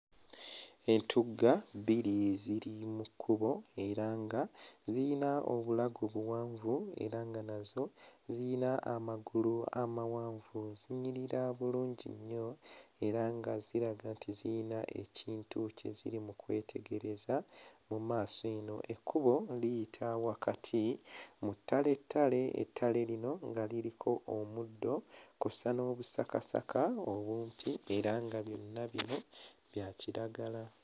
Entugga bbiri ziri mu kkubo era nga zirina obulago buwanvu era nga nazo zirina amagulu amawanvu, zinyirira bulungi nnyo era nga ziraga nti ziyina ekintu kye ziri mu kwetegereza mu maaso eno. Ekkubo liyita wakati mu ttalettale; ettale lino nga liriko omuddo kw'ossa n'obusakasaka obumpi era nga byonna bino bya kiragala.